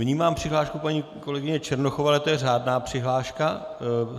Vnímám přihlášku paní kolegyně Černochové, ale to je řádná přihláška.